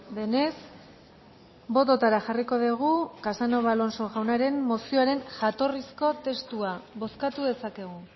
denez bototara jarriko dugu casanova alonso jaunaren mozioaren jatorrizko testua bozkatu dezakegu